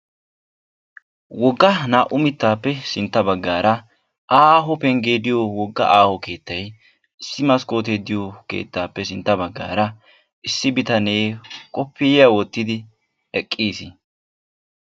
wogga naa"u mittappe sintta baggara aaho pengge diyoo wogga aaho keetta issi maskkotte diyoo issi keettappe sintta baggara issi bitaane kopiyiyaa wottidi eqqiis.